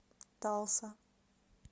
талса